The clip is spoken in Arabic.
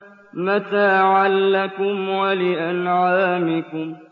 مَّتَاعًا لَّكُمْ وَلِأَنْعَامِكُمْ